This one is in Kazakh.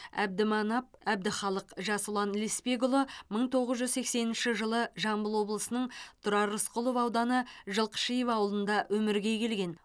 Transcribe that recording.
әбдіманап әбдіхалық жасұлан лесбекұлы мың тоғыз жүз сексенінші жылы жамбыл облысы тұрар рысқұлов ауданы жылқышиев ауылында өмірге келген